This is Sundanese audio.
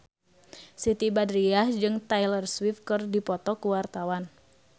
Siti Badriah jeung Taylor Swift keur dipoto ku wartawan